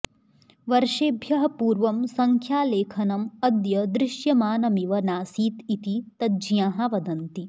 वर्षेभ्यः पूर्वं संख्यालेखनम् अद्य दृश्यमानमिव नासीत् इति तज्ज्ञाः वदन्ति